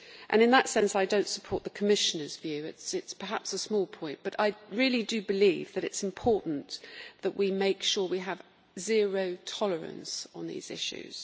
In that sense I do not support the Commissioner's view this is perhaps a small point but I really do believe it is important that we make sure we have zero tolerance on these issues.